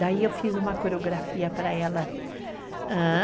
Daí eu fiz uma coreografia para ela. ah...